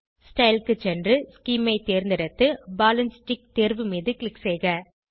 style க்கு சென்று scheme ஐ தேர்ந்தெடுத்து பால் ஆண்ட் ஸ்டிக் தேர்வு மீது க்ளிக் செய்க